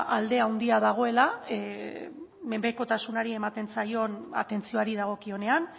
alde handia dagoela menpekotasunari ematen zaion atentzioari dagokionean